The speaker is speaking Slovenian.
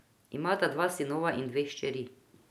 Imata dva sinova in dve hčeri.